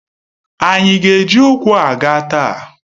Ànyị ga eji ụkwụ aga taa?